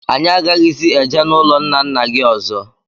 Anyị aghaghịzi eje n'ụlọ ńnà ńnà gị ọzọ.